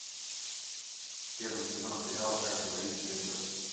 первый сезон сериала как говорит джинджер